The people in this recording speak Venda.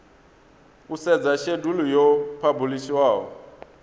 u sedza shedulu yo phabulishiwaho